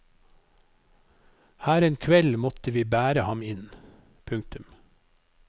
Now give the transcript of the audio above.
Her en kveld måtte vi bære ham inn. punktum